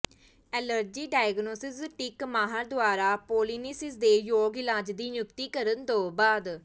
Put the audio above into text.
allergy diagnostic ਮਾਹਰ ਦੁਆਰਾ pollinosis ਦੇ ਯੋਗ ਇਲਾਜ ਦੀ ਨਿਯੁਕਤੀ ਕਰਨ ਤੋਂ ਬਾਅਦ